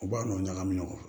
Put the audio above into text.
U b'a nɔ ɲagami ɲɔgɔn na